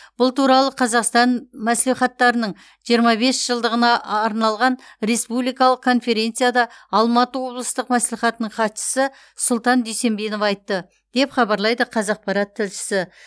бұл туралы қазақстан мәслихаттарының жиырма бес жылдығына арналған республикалық конференцияда алматы облыстық мәслихатының хатшысы сұлтан дүйсенбинов айтты деп хабарлайды қазақпарат тілшісі